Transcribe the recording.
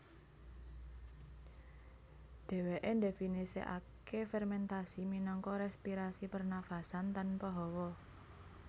Dhèwèké ndhéfinisèkaké fermèntasi minangka respirasi pernafasan tanpa hawa